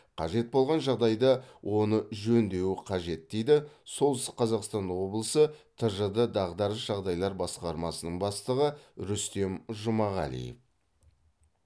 қажет болған жағдайда оны жөндеуі қажет дейді солтүстік қазақстан облысы тжд дағдарыс жағдайлар басқармасының бастығы рүстем жұмағалиев